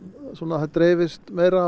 það dreifist meira